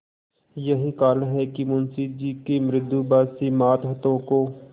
यही कारण है कि मुंशी जी के मृदुभाषी मातहतों को